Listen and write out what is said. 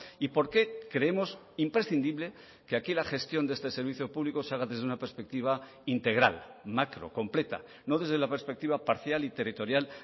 y por qué creemos imprescindible que aquí la gestión de este servicio público se haga desde una perspectiva integral macro completa no desde la perspectiva parcial y territorial